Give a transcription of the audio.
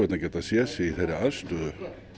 að geta séð sig í þeirri aðstöðu